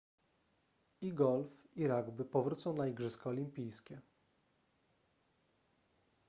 i golf i rugby powrócą na igrzyska olimpijskie